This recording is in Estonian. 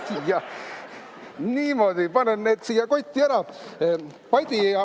Jah, niimoodi, panen need siia kotti ära.